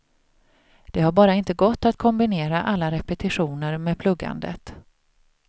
Det har bara inte gått att kombinera alla repetitioner med pluggandet.